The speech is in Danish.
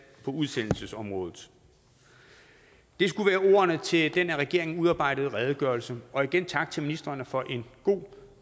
på udsendelsesområdet det skulle være ordene til den af regeringen udarbejdede redegørelse og igen tak til ministrene for en god